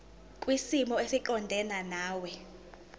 kwisimo esiqondena nawe